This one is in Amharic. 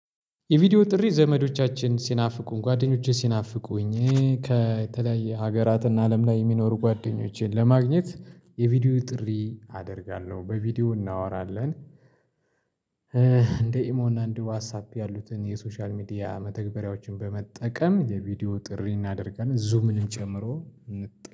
የቪዲዮ ጥሪ ዘመዶቻችን ሲናፍቁን ጓደኞቼ ሲናፍቁኝ ከተለያየ ሀገራትና አለም ላይ የሚኖሩ ጓደኞቼን ለማግኘት የቪዲዮ ጥሪ አደርጋለሁ በቪዲዮ እናወራለን። እንደ ኢሞ እና እንደ ዋትሳፕ ያሉትን የሶሻል ሚዲያ መተግበሪያዎችን በመጠቀም የቪዲዮ ጥሪ እናደርጋለን ዙምንም ጨምሮ እንጥል